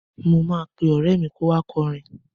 Mo máa ọ̀rẹ́ mi kó wá kọrin.